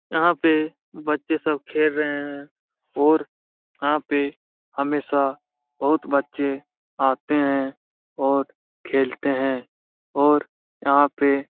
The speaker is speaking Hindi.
यहां पे बच्चे सब खेल रहे हैं और यहां पे हमेशा बहुत बच्चे आते हैं और खेलते हैं और यहां पे --